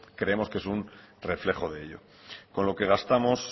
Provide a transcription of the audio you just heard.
creemos que es un reflejo de ello con lo que gastamos